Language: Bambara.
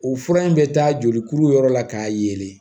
U fura in bɛ taa jolikuru yɔrɔ la k'a yelen